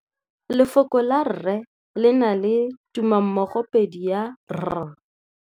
Lefoko la rre le na le tumammogôpedi ya, r.